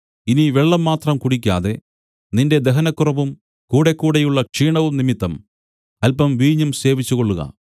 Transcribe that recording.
ഇനി വെള്ളം മാത്രം കുടിക്കാതെ നിന്റെ ദഹനക്കുറവും കൂടെക്കൂടെയുള്ള ക്ഷീണവും നിമിത്തം അല്പം വീഞ്ഞും സേവിച്ചുകൊള്ളുക